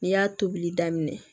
N'i y'a tobili daminɛ